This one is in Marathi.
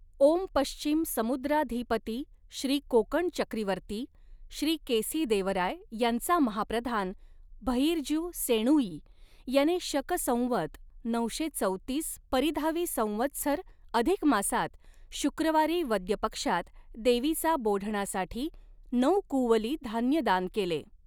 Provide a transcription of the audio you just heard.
ओम पश्चिम समुद्राधीपती श्री कोकण चक्रीवर्ती श्री केसिदेवराय यांचा महाप्रधान भइर्जु सेणुई याने शक संवत नऊशे चौतीस परिधावी संवत्सर अधिक मासात शुक्रवारी वद्यपक्षात देवीचा बोढणासाठी नऊ कुंवली धान्य दान केले.